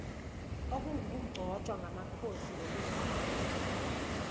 okungukugcotshwa kwamakhosi ngokwesiko